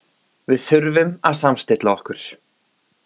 Við þurfum að samstilla okkur.